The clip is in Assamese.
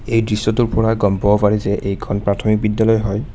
এই দৃশ্যটোৰ পৰা গম পাব পাৰি যে এইখন প্ৰাথমিক বিদ্যালয় হয়।